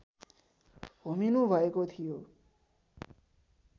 होमिनुभएको थियो